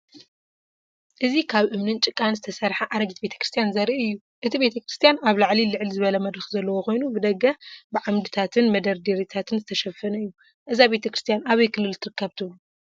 እዚ ካብ እምንን ጭቃን ዝተሰርሐ ኣረጊት ቤተ ክርስቲያን ዘርኢ እዩ። እቲ ቤተክርስትያን ኣብ ላዕሊ ልዕል ዝበለ መድረኽ ዘለዎ ኮይኑ ብደገ ብዓምድታትን መደርደሪታትን ዝተሸፈነ እዩ። እዛ ቤተ ክርስቲያን ኣበይ ክልል ትርከብ ትብሉ?